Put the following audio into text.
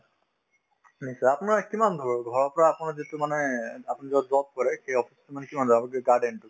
নিশ্চয় আপোনাৰ কিমান ঘৰৰ ঘৰৰ পৰা আপোনাৰ যিটো মানে আপুনি যত job কৰে সেই office তো মানে কিমান দূৰ আগত garden তো